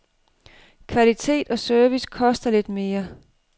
Kvalitet og service koster lidt mere.